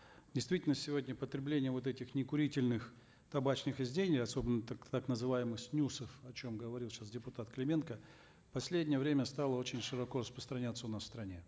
действительно сегодня потребление вот этих некурительных табачных изделий особенно так называемых снюсов о чем говорил сейчас депутат клименко в последнее время стало очень широко распространяться у нас в стране